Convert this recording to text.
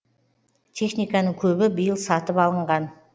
техниканың көбі биыл сатып алынған